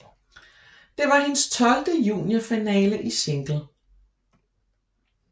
Det var hendes tolvte juniorfinale i single